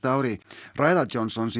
ári ræða Johnsons